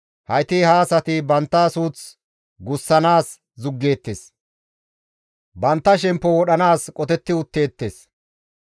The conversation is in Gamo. Hayti ha asati bantta suuth gussanaas zuggeettes; bantta shemppo wodhanaas qotetti utteettes.